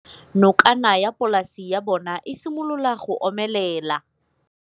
Nokana ya polase ya bona, e simolola go omelela.